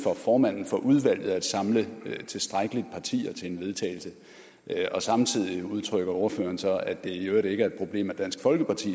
formanden for udvalget at samle tilstrækkeligt partier til en vedtagelse og samtidig udtrykker ordføreren så at det i øvrigt ikke er et problem at dansk folkeparti